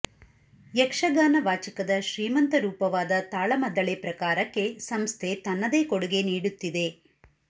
ಯಕ್ಷಗಾನ ವಾಚಿಕದ ಶ್ರೀಮಂತ ರೂಪವಾದ ತಾಳಮದ್ದಳೆ ಪ್ರಕಾರಕ್ಕೆ ಸಂಸ್ಥೆ ತನ್ನದೇ ಕೊಡುಗೆ ನೀಡುತ್ತಿದೆ